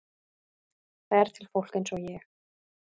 Það er til fólk eins og ég.